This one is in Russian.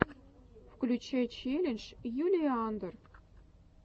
включай челлендж юлии андр